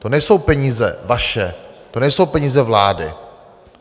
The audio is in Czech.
To nejsou peníze vaše, to nejsou peníze vlády.